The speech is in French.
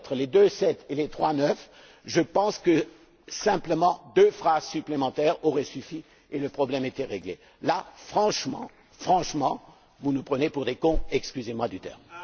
Deux phrases supplémentaires auraient suffi et le problème était réglé. Là, franchement, vous nous prenez pour des cons, excusez moi du terme!